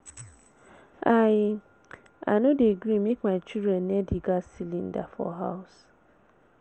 I I no dey gree make my children near di gas cylinder for house.